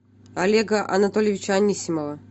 олега анатольевича анисимова